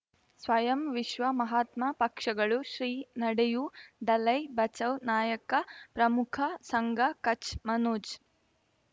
ಸ್ವಯಂ ವಿಶ್ವ ಮಹಾತ್ಮ ಪಕ್ಷಗಳು ಶ್ರೀ ನಡೆಯೂ ದಲೈ ಬಚೌ ನಾಯಕ ಪ್ರಮುಖ ಸಂಘ ಕಚ್ ಮನೋಜ್